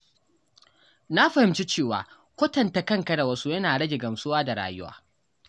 Na fahimci cewa kwatanta kanka da wasu yana rage gamsuwa da rayuwa.